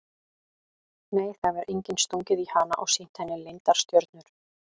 Nei það hefur enginn stungið í hana og sýnt henni leyndar stjörnur.